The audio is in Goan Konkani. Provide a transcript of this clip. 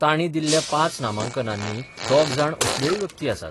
तांणी दिल्ल्या पांच नामांकनांनी दोग जाण असल्योय व्यक्ती आसात.